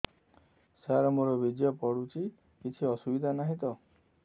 ସାର ମୋର ବୀର୍ଯ୍ୟ ପଡୁଛି କିଛି ଅସୁବିଧା ନାହିଁ ତ